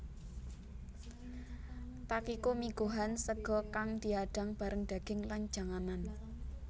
Takikomigohan sega kang diadang bareng daging lan janganan